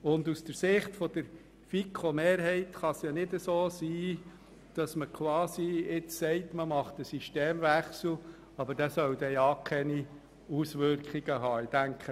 Aus Sicht der FiKo-Mehrheit bringt es nichts, jetzt einem Systemwechsel zuzustimmen, der keine Auswirkungen haben darf.